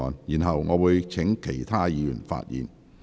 然後，我會請其他委員發言。